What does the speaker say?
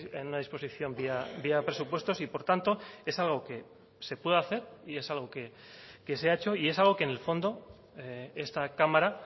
en una disposición vía presupuestos y por tanto es algo que se puede hacer y es algo que se ha hecho y es algo que en el fondo esta cámara